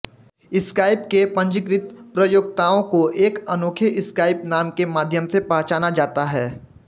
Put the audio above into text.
Skype के पंजीकृत प्रयोक्ताओं को एक अनोखे स्काइप नाम के माध्यम से पहचाना जाता है